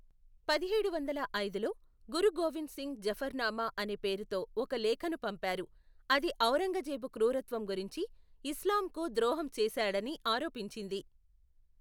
పదిహేడు వందల ఐదులో, గురు గోవింద్ సింగ్ జఫర్నామా అనే పేరుతో ఒక లేఖను పంపారు, అది ఔరంగజేబు క్రూరత్వం గురించి, ఇస్లాంకు ద్రోహం చేశాడని ఆరోపించింది.